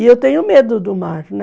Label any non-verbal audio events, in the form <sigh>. E eu tenho medo do mar, <unintelligible>